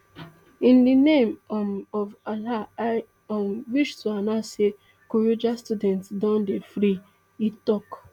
in di name um of allah i um wish to announce say kuriga students don dey free e tok